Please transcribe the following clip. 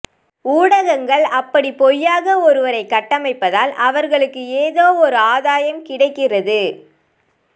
ஊடகங்கள் அப்படி பொய்யாக ஒருவரை கட்டமைப்பதால் அவர்களுக்கு ஏதோ ஓர் ஆதாயம் கிடைக்கிறது